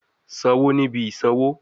Sanwo ni ibi isanwo